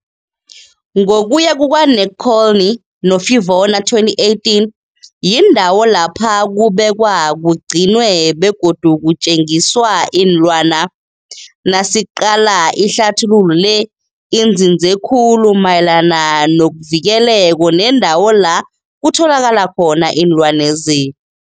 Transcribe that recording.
Ngokuya kuka-Nekolny no-Fiavona, 2018, yindawo lapho kubekwa, kugcinwe begodu kutjengiswa iinlwana. Nasiqala ihlathululo le inzinze khulu mayelana nokuvikeleko nendawo la kutholakala khona iinlwana lezi.